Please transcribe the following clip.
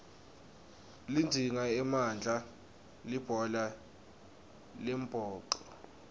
lidzinga emandla libhola lembhoco